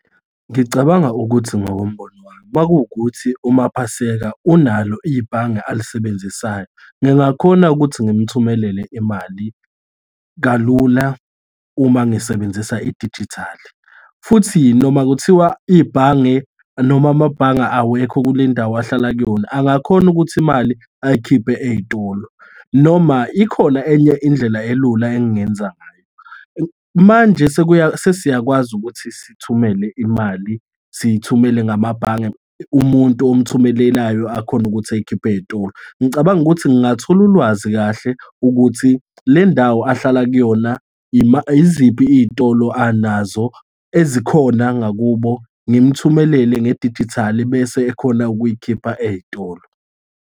Ngicabanga ukuthi ngokombono wami uma kuwukuthi uMapaseka unalo ibhange alisebenzisayo, ngingakhona ukuthi ngim'thumelele imali kalula uma ngisebenzisa idijithali, futhi noma kuthiwa ibhange noma amabhange awekho kulendawo ahlala kuyona, angakhona ukuthi imali ayikhiphe ey'tolo. Noma ikhona enye indlela elula engingenzangayo. Manje sesiyakwazi ukuthi sithumele imali, siyithumele ngamabhange, umuntu umthumelelayo akhone ukuthi ayikhiphe ey'tolo. Ngicabanga ukuthi ngingathola ulwazi kahle ukuthi lendawo ahlala kuyona, yiziphi iy'tolo anazo ezikhona ngakubo, ngim'thumelele ngedijithali, bese ekhona ukuyikhipha ey'tolo.